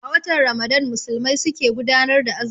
A watan Ramadan Musulmai su ke gudanar da azumi